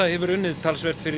hefur unnið talsvert fyrir